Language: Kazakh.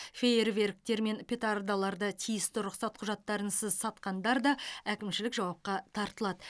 фейерверктер мен петардаларды тиісті рұқсат құжаттарынсыз сатқандар да әкімшілік жауапқа тартылады